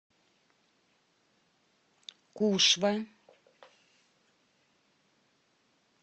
кушва